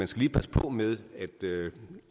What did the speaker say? skal passe på med